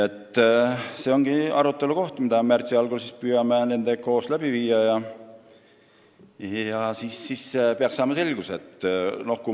See ongi see koht, mida me püüame märtsi algul koos sektoriga arutada, siis peaksime selgust saama.